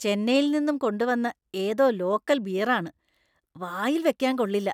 ചെന്നൈയിൽ നിന്നും കൊണ്ടുവന്ന ഏതോ ലോക്കൽ ബിയർ ആണ്; വായിൽ വെക്കാൻ കൊള്ളില്ല.